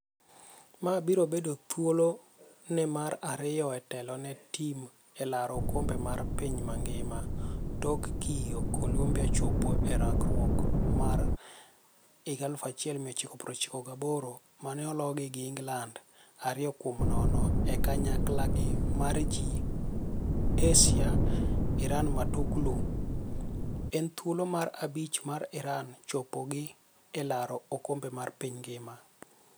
Ma biro bedo thuolo ne mar ariyo e telo ne tim e laro okombe mar piny mangima tok kiyo Colombia chopo e rakruok mar 1998 mane ologi gi Ingland 2-0 e kanyaklagi mar G. ASIA Iran Matuklu: En thuolo mar abich mar Iran chopogi e laro okombe mar piny ngima.